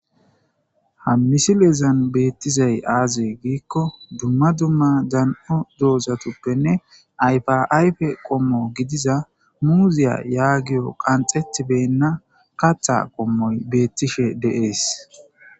ha misileezan beettizay aaze giikko dumma dumma dan7o doozatuppenne ayfaayfe qommo gidiza muuziya yaagiyo qanxetibenna katha qommoy beettishe deees